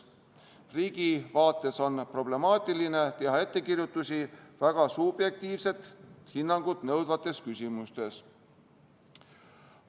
Riigi vaates on problemaatiline teha ettekirjutusi väga subjektiivset hinnangut nõudvates küsimustes.